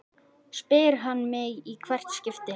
spyr hann mig í hvert skipti.